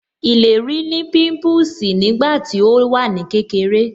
Ìlérí ní pimpusi nígbà tí ó wà ní kékeré